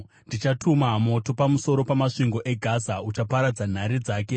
ndichatuma moto pamusoro pamasvingo eGaza uchaparadza nhare dzake.